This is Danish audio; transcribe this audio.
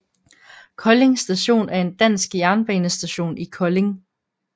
Kolding Station er en dansk jernbanestation i Kolding